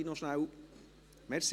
Können Sie das noch schnell machen?